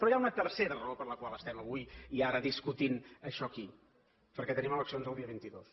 però hi ha una tercera raó per la qual estem avui i ara discutint això aquí perquè tenim eleccions el dia vint dos